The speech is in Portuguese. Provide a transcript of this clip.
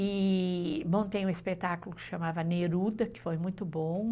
E montei um espetáculo que se chamava Neruda, que foi muito bom.